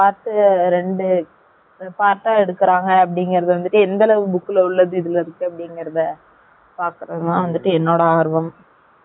part அ எடுக்கராங்க நு வந்துட்டு எந்த அலவுக்கு book la வுல்லது இதுல இருக்கு நு பாக்ரது கு தான் வந்துட்டு என்னோட ஆர்வம் பாகலாம்